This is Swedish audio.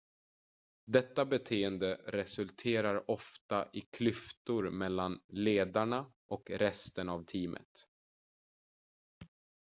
detta beteende resulterar ofta i klyftor mellan ledarna och resten av teamet